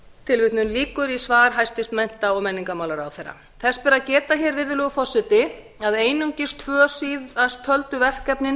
tilvitnun lýkur í svar mennta og menningarmálaráðherra þess ber að geta virðulegi forseti að einungis tvö síðasttöldu verkefnin